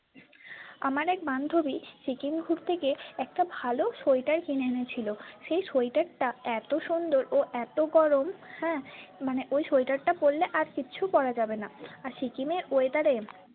আমার এক বান্ধবী সিক্কিম ঘুরতে গিয়ে একটা ভালো sweatwear কিনে এনেছিল সেই sweatwear টা এতো সুন্দর ও এতো গরম হ্যাঁ মানে ওই sweatwear টা পড়লে আর কিছু পড়া যাবেনা আর সিকিমের weather এ।